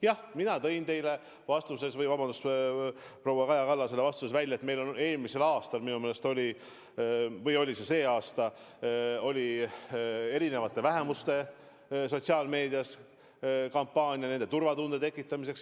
Jah, mina tõin teile vastates või, vabandust, proua Kaja Kallasele vastates välja, et meil minu meelest eelmisel aastal oli – või oli see tänavu – sotsiaalmeedias kampaania erinevates vähemustes turvatunde tekitamiseks.